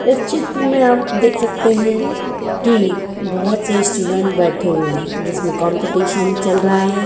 इस चित्र में आप देख सकते हैं की बहुत से स्टूडेंट बैठे हुए हैं जिसमें कंपटीशन चल रहा है।